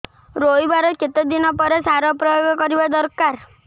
ରୋଈବା ର କେତେ ଦିନ ପରେ ସାର ପ୍ରୋୟାଗ କରିବା ଦରକାର